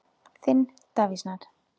Þinn, Davíð Snær.